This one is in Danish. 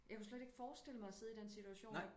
Jeg kunne slet ikke forestille mig og sidde i den situation